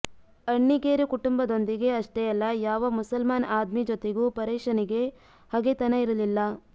ಅಣ್ಣೆಗೇರಿ ಕುಟುಂಬದೊಂದಿಗೆ ಅಷ್ಟೇ ಅಲ್ಲ ಯಾವ ಮುಸಲ್ಮಾನ್ ಅದ್ಮಿ ಜೊತೆಗೂ ಪರೇಶನಿಗೆ ಹಗೆತನ ಇರಲಿಲ್ಲ